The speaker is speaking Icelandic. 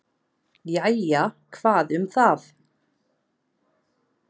"""Jæja, hvað um það."""